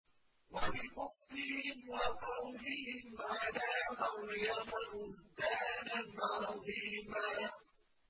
وَبِكُفْرِهِمْ وَقَوْلِهِمْ عَلَىٰ مَرْيَمَ بُهْتَانًا عَظِيمًا